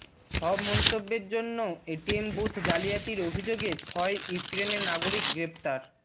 সব মন্তব্যের জন্য এটিএম বুথ জালিয়াতির অভিযোগে ছয় ইউক্রেনের নাগরিক গ্রেপ্তার